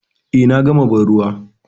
Eh, na gama banruwa.